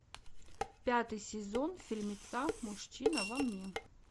пятый сезон фильмеца мужчина во мне